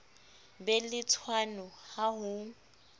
be le tshwano ha ho